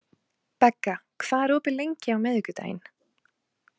Begga, hvað er opið lengi á miðvikudaginn?